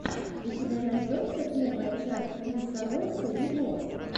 у тебя найдется первая часть принса ройса виво